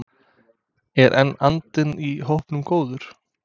En er andinn í hópnum góður?